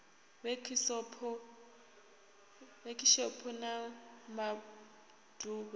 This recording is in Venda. wekhishopho na ma ḓ uvha